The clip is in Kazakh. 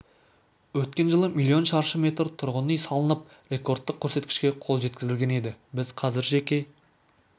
өткен жылы миллион шаршы метр тұрғын үй салынып рекордтық көрсеткішке қол жеткізілген еді біз қазір жеке